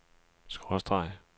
skråstreg